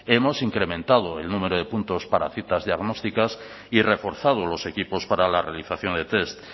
hemos incrementado el número de puntos para citas diagnósticas y reforzado los equipos para la realización de test